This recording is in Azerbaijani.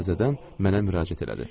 O təzədən mənə müraciət elədi.